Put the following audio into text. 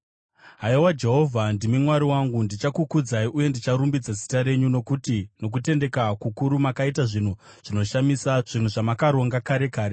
Haiwa, Jehovha ndimi Mwari wangu; ndichakukudzai uye ndicharumbidza zita renyu, nokuti nokutendeka kukuru makaita zvinhu zvinoshamisa, zvinhu zvamakaronga kare kare.